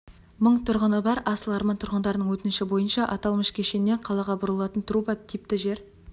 мың тұрғыны бар асыл арман тұрғындарының өтініші бойынша аталмыш кешеннен қалаға бұрылатын труба типті жер